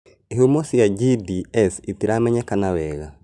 Ihumo cia GDS itiramenyekana wega